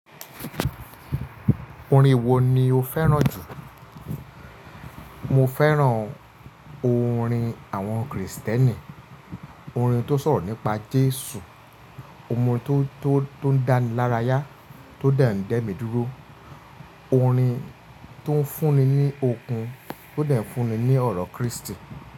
Orin wo ni o fẹ́ràn jù? Mo fẹ́ràn orin àwọn Kristẹni, orin tó sọ̀rọ̀ nípa Jésù, orin tó, tó, tó ń dánilárayá, tó dàńdẹ́ mi dúró, orin tó ń fún ni ní okun, tó de ń fúnni ní ọ̀rọ̀ Kristi.